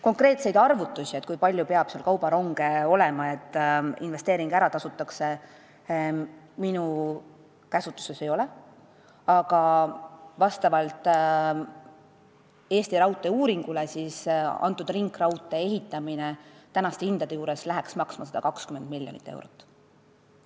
Konkreetseid arvutusi, kui palju peab seal kaubaronge sõitma, et investeering ära tasuks, minu käsutuses ei ole, aga Eesti Raudtee uuringu andmetel läheks ringraudtee ehitamine tänaste hindade juures maksma 120 miljonit eurot.